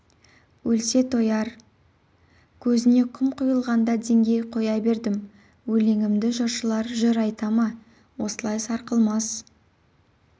өлсе тояр көзіне құм құйылғанда деңгей қоя бердім өлеңімді жыршылар жыр айта ма осылай сарқылмас